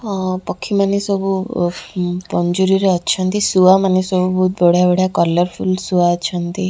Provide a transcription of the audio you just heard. ଅ ପକ୍ଷୀମାନେ ସବୁ ୱଫ୍ ପଞ୍ଜୁରୀ ରେ ଅଛନ୍ତି ଶୁଆମାନେ ସବୁ ବହୁତ ବଢ଼ିଆ-ବଢ଼ିଆ କଲର୍ଫୁଲ୍ ଶୁଆ ଅଛନ୍ତି।